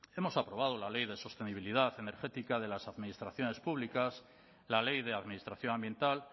hemos aprobado la ley de sostenibilidad energética de las administraciones públicas la ley de administración ambiental